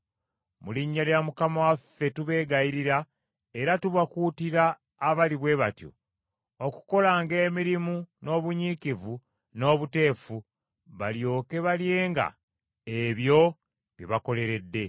Mu linnya lya Mukama waffe, tubeegayirira era tubakuutira abali bwe batyo, okukolanga emirimu n’obunyiikivu n’obuteefu balyoke balyenga ebyo bye bakoleredde.